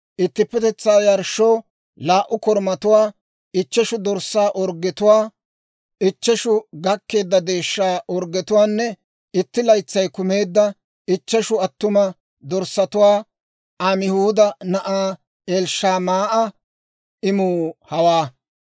ittippetetsaa yarshshoo laa"u korumatuwaa, ichcheshu dorssaa orggetuwaa, ichcheshu gakkeedda deeshshaa orggetuwaanne itti laytsay kumeedda ichcheshu attuma dorssatuwaa. Amihuuda na'aa Elishamaa'a imuu hawaa.